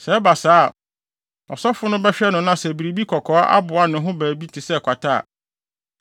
Sɛ ɛba saa a, ɔsɔfo no bɛhwɛ no na sɛ biribi kɔkɔɔ aboa ne ho baabi te sɛ kwata a,